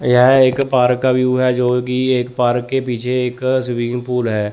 यह एक पार्क का व्यू है जोकि एक पार्क के पीछे एक स्विमिंग पूल है।